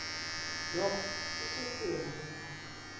loko isusiwe ngokwelapha